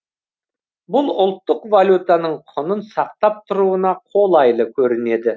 бұл ұлттық валютаның құнын сақтап тұруына қолайлы көрінеді